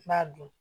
N b'a dun